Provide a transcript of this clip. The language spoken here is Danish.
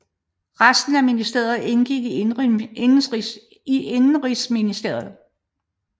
Resten af ministeriet indgik i indenrigsministeriet